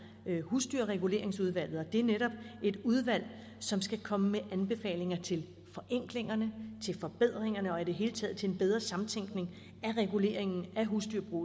husdyrreguleringsudvalget og det er netop et udvalg som skal komme med anbefalinger til forenklingerne til forbedringerne og i det hele taget til en bedre samtænkning af reguleringen af husdyrbrug